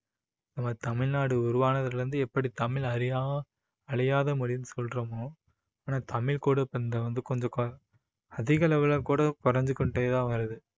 நம்ம தமிழ்நாடு உருவானதுல இருந்து எப்படி தமிழ் அழியா~ அழியாத மொழின்னு சொல்றோமோ ஆனா தமிழ் கூட இப்போ இந்த வந்து கொஞ்சம் கு~ அதிக அளவுல கூட குறைஞ்சு கொண்டே தான் வருது